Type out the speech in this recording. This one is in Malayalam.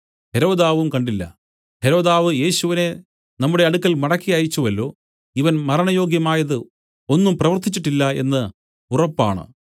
ഹെരോദാവും കണ്ടില്ല ഹെരോദാവ് യേശുവിനെ നമ്മുടെ അടുക്കൽ മടക്കി അയച്ചുവല്ലോ ഇവൻ മരണയോഗ്യമായത് ഒന്നും പ്രവർത്തിച്ചിട്ടില്ല എന്ന് ഉറപ്പാണ്